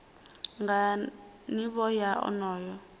nga nivho ya onoyo muthu